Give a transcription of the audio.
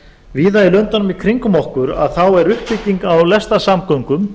víða í löndunum í kringum okkur þá er uppbygging á lestarsamgöngum